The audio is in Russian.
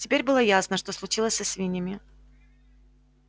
теперь было ясно что случилось со свиньями